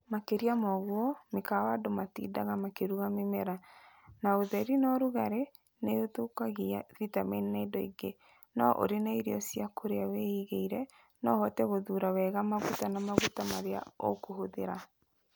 Makĩria ma ũguo, mĩkawa andũ matindaga makĩruga mĩmera, na ũtheri na ũrugarĩ nĩ ũthũkagia vitamini na indo ingĩ, no ũrĩ na irio cia kũrĩa wĩigĩire, no ũhote gũthuura wega maguta na maguta marĩa ũkũhũthĩra.